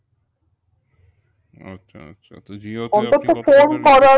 আচ্ছা আচ্ছা তো